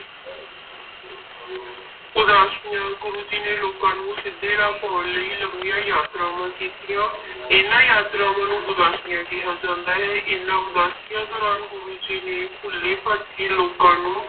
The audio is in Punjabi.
ਉਦਾਸੀਆਂ ਗੁਰੂ ਜੀ ਨੇ ਲੋਕਾਂ ਨੂੰ ਸਿੱਧੇ ਰਾਹ ਪਾਉਣ ਲਈ ਲੰਮੀਆਂ ਯਾਤਰਾਵਾਂ ਕੀਤੀਆਂ ਇਹਨਾਂ ਯਾਤਰਾਵਾਂ ਨੂੰ ਉਦਾਸੀਆਂ ਕਿਹਾ ਜਾਂਦਾ ਹੈ, ਇਹਨਾਂ ਉਦਾਸੀਆਂ ਦੌਰਾਨ ਗੁਰੂ ਜੀ ਨੇ ਭੁੱਲੇ ਭਟਕੇ ਲੋਕਾਂ ਨੂੰ